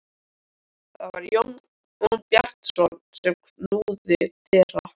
Það var Jón Bjarnason sem knúði dyra.